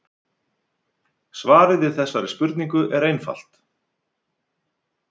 svarið við þessari spurningu er einfalt